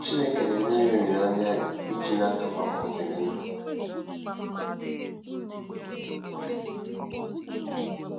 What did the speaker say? Chineke na-enye anyị olileanya e ji n'aka maka ọdịnihu.